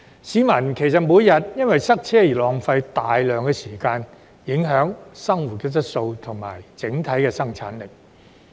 市民每天因塞車而浪費大量時間，影響生活質素及整體生產力。